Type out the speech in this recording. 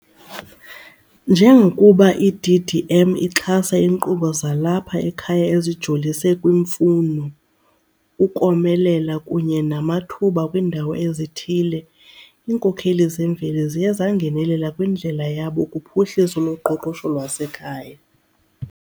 Njengokuba i-DDM ixhasa iinkqubo zalapha ekhaya ezijolise kwiimfuno, ukomelela kunye namathuba kwiindawo ezithile, iinkokheli zemveli ziye zangenelela kwindlela yabo kuphuhliso loqoqosho lwasekhaya.